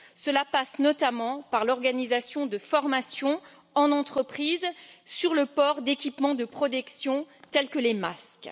Cela passe notamment par l'organisation de formations en entreprise sur le port d'équipements de protection tels que les masques.